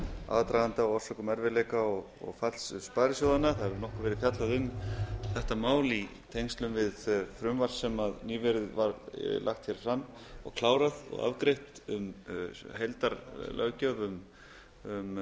aðdraganda og orsökum erfiðleika og falls sparisjóðanna það hefur nokkuð verið fjallað um þetta mál í tengslum við frumvarp sem nýverið var lagt hér fram klárað og afgreitt um heildarlöggjöf um